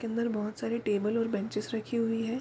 के अंदर बहुत सारी टेबल और बेंचेस रखी हुई हैं।